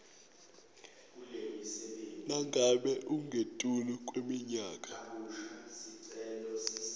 nangabe ungetulu kweminyaka